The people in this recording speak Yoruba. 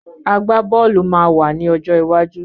Àgbá-bọ́ọ̀lù máa wà ní ọjọ́ iwájú